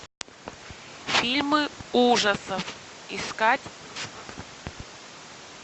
фильмы ужасов искать